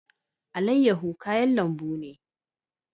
Alayyahu kayan lambu ne.